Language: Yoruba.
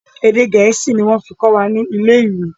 Èdè gẹ̀ẹ́sì ni wọ́n fí kọ́ wa ni ilé ìwé.